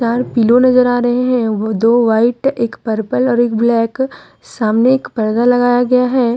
और पिलो नजर आ रहे हैं वो दो वाइट एक पर्पल और एक ब्लैक सामने एक परदा लगाया गया है।